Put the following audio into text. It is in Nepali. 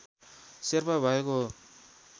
शेर्पा भएको हो